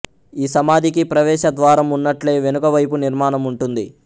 ఈ సమాధికి ప్రవేశద్వారం ఉన్నట్లే వెనుక వైపు నిర్మాణం ఉంటుంది